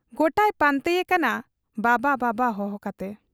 ᱜᱚᱴᱟᱭ ᱯᱟᱱᱛᱮ ᱭᱮ ᱠᱟᱱᱟᱵᱟᱵᱟ ᱵᱟᱵᱟ ᱦᱚᱦᱚ ᱠᱟᱛᱮ ᱾